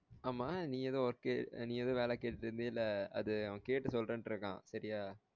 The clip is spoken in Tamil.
ஆமா நீ எதோ work உ நீ எதோ வேலை கேட்டு இருந்தீல அது அவன் கேட்டு சொல்றேன்ட்டு இருக்கான் சரியா